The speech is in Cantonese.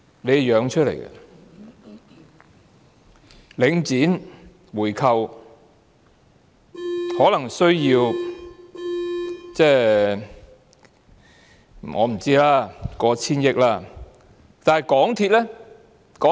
我估計，回購領展可能需要過千億元資金。